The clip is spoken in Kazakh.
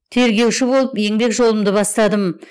тергеуші болып еңбек жолымды бастадым